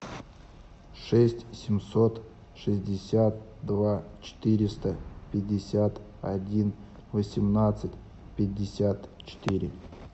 шесть семьсот шестьдесят два четыреста пятьдесят один восемнадцать пятьдесят четыре